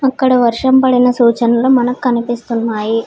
అక్కడ వర్షం పడిన సూచనలు మనకు కనిపిస్తున్నాయి.